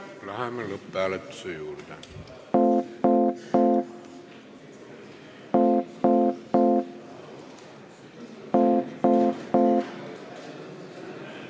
Läheme lõpphääletuse juurde.